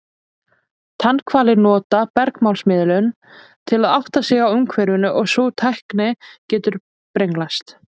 Tannhvalir nota bergmálsmiðun til að átta sig á umhverfinu og sú tækni getur brenglast.